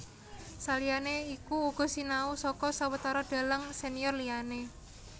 Saliyané iku uga sinau saka sawetara dhalang senior liyané